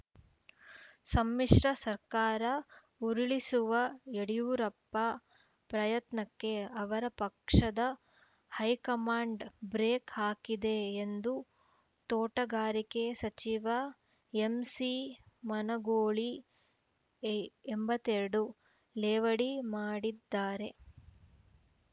ಸಮ್ಮಿಶ್ರ ಸರ್ಕಾರ ಉರುಳಿಸುವ ಯಡಿಯೂರಪ್ಪ ಪ್ರಯತ್ನಕ್ಕೆ ಅವರ ಪಕ್ಷದ ಹೈಕಮಾಂಡ್‌ ಬ್ರೇಕ್‌ ಹಾಕಿದೆ ಎಂದು ತೋಟಗಾರಿಕೆ ಸಚಿವ ಎಂಸಿಮನಗೂಳಿ ಎ ಎಂಬತ್ತ್ ಎರಡು ಲೇವಡಿ ಮಾಡಿದ್ದಾರೆ